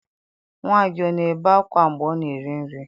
Nwa gị ọ na-ebe akwa mgbe ọ na-eri nri?